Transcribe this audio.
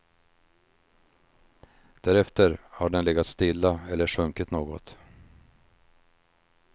Därefter har den legat stilla eller sjunkit något.